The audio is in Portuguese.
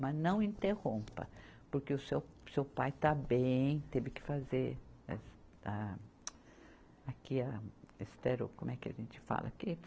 Mas não interrompa, porque o seu, seu pai está bem, teve que fazer a, aqui a, estero, como é que a gente fala aqui?